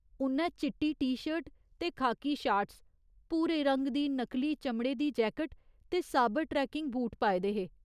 उ'न्नै चिट्टी T shirt ते खाकी शार्ट्स, भूरे रंग दी नकली चमड़े दी जैकेट ते साबर ट्रेकिंग बूट पाए दे हे।